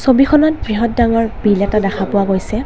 ছবিখনত বৃহৎ ডাঙৰ বিল এটা দেখা পোৱা গৈছে।